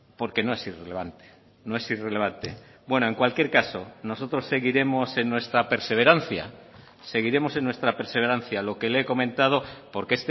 porque no es irrelevante no es irrelevante bueno en cualquier caso nosotros seguiremos en nuestra perseverancia seguiremos en nuestra perseverancia lo que le he comentado porque